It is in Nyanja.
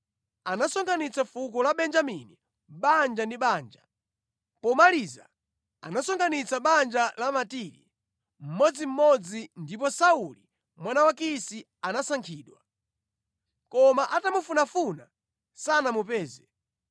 Anasonkhanitsa fuko la Benjamini banja ndi banja. Pomaliza anasonkhanitsa banja la Matiri mmodzimmodzi ndipo Sauli mwana wa Kisi anasankhidwa. Koma atamufunafuna, sanamupeze.